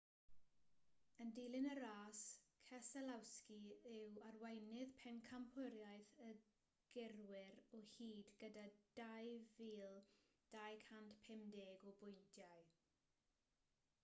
yn dilyn y ras keselowski yw arweinydd pencampwriaeth y gyrwyr o hyd gyda 2,250 o bwyntiau